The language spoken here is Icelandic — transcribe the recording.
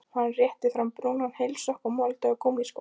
Hann rétti fram brúnan heilsokk og molduga gúmmískó.